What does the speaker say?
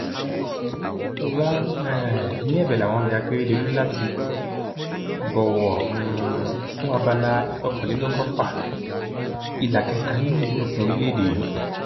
wọn um ní ẹbẹ làwọn ń bẹ akérèdọlù láti bọwọ um fún abala ìkọkànlélọgọfà ìlà kẹta nínú ìwé òfin orílẹèdè yìí